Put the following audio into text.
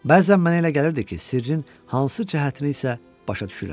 Bəzən mənə elə gəlirdi ki, sirrin hansı cəhətini isə başa düşürəm.